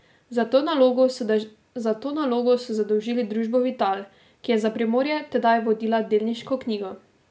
Za to nalogo so zadolžili družbo Vital, ki je za Primorje tedaj vodila delniško knjigo.